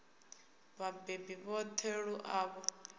vhabebi vhoṱhe lu a ṱo